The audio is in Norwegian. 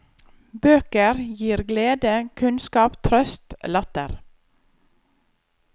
Bøker glir glede, kunnskap, trøst, latter.